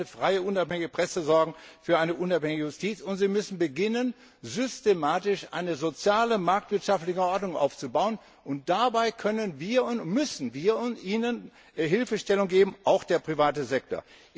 Sie müssen für eine freie, unabhängige Presse sorgen, für eine unabhängige Justiz, und sie müssen beginnen, systematisch eine soziale marktwirtschaftliche Ordnung aufzubauen. Dabei können und müssen wir ihnen Hilfestellung geben, auch der private Sektor.